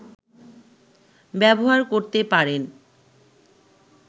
ব্যবহার করতে পারেন